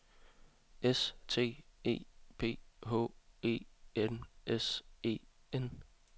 S T E P H E N S E N